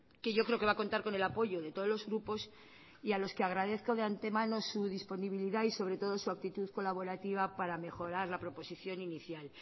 que yo creo que va a contar con el apoyo de todos los grupos y a los que agradezco de antemano su disponibilidad y sobre todo su actitud colaborativa para mejorar la proposición inicial